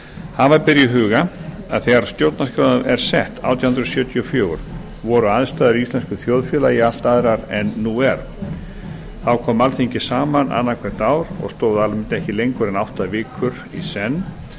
hafa ber í huga að þegar stjórnarskráin er sett átján hundruð sjötíu og fjögur voru aðstæður í íslensku þjóðfélagi allt aðrar en nú er þá kom alþingi saman annað hvert ár og stóð almennt ekki lengur en átta vikur í senn